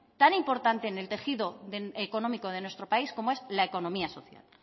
tan importante en el tejido económico de nuestro país como es la economía social